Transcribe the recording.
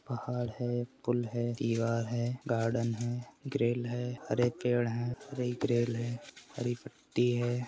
पहाड़ है पुल है दीवार है गार्डन है ग्रिल है हरे पेड़ है हरी ग्रिल है हरी पट्टी है।